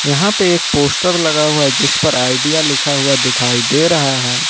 यहां पे एक पोस्टर लगा हुआ है जिस पर आइडिया लिखा हुआ दिखाई दे रहा है।